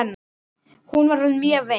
Hún var orðin mjög veik.